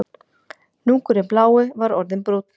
Hnúkurinn blái var orðinn brúnn